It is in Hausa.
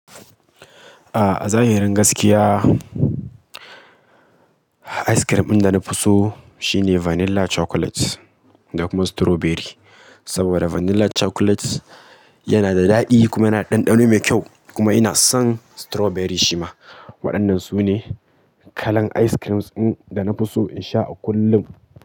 Ah, zahi rin gaskiya, ice cream ɗin da na fi so shine vanilla chocolate da kuma strawberry. Saboda vanilla chocolate yana da daɗi kuma yana da ɗanɗano mai kyau kuma ina son strawberry shima. Waɗannan su ne kalan ice creams ɗin da na fi so in sha a kullum.